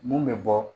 Mun bɛ bɔ